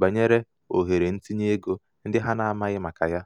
banyere ohere ntinyeego ndị ha na-amaghị maka ya.